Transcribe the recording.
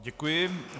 Děkuji.